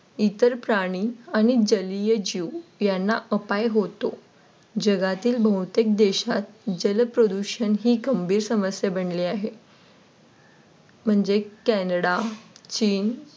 इतर प्राणी जलीय जीवन यांना अपाय होतो. जगातील बहुतेक देशात जलप्रदूषण ही गंभीर समस्या बनलेली आहे. म्हणजे कॅनडा, चीन